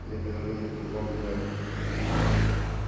они повернули кругом грег